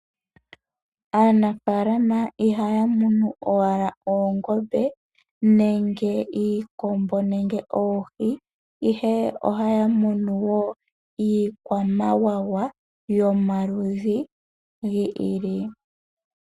Aanafaalama ihaya munu owala oongombe nenge iikombo nenge oohi, ihe ohaya munu woo iikwamawawa yomaludhi gi ili.